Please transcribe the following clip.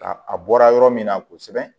Ka a bɔra yɔrɔ min na kosɛbɛ